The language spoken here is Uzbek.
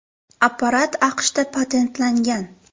Apparat AQShda patentlangan.